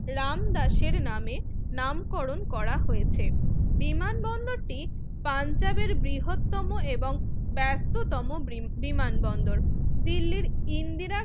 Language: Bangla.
রামদাসের নামে নামকরণ করা হয়েছে বিমানবন্দরটি পাঞ্জাবের বৃহত্তম এবং ব্যস্ততম বিমানবন্দর দিল্লির ইন্দিরা